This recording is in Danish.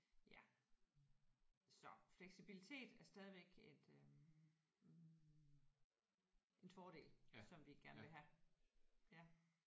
Ja så fleksibilitet er stadigvæk et øh en en fordel som vi gerne vil have ja